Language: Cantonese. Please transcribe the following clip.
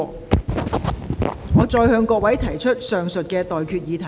我現在向各位提出上述待決議題。